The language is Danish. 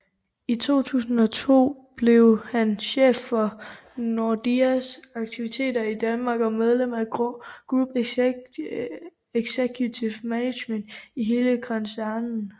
I 2002 blev han chef for Nordeas aktiviteter i Danmark og medlem af Group Executive Management i hele koncernen